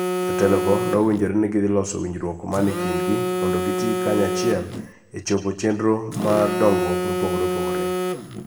Jotelogo nowinjore ni gidhi loso winjruok mane kindgi mondo gitii kanyachiel e chopo chenro mar dongruok mopogore opogore.